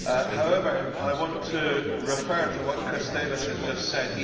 However, I want to refer to what Chris Davies has just said.